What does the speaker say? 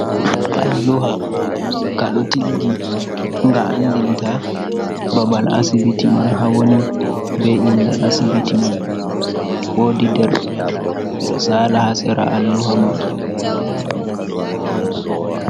Alluha ka ɗo tiggi nga andinta babal asibiti man ha woni, be inde asibiti man, wodi derke’en ɓe ɗo sala ha sera alluha man.